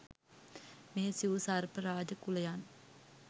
මේ සිව් සර්ප රාජ කුලයන්